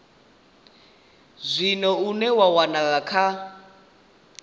zwino une wa wanala kha